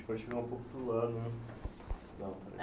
Pode chegar um pouco para o lado né